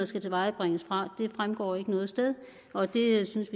skal tilvejebringes det fremgår ikke noget sted og det synes